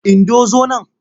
Indo zo nan!